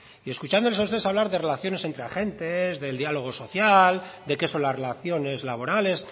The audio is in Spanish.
y escuchándoles a ustedes hablar de relaciones entre agentes del diálogo social de qué son las relaciones laborales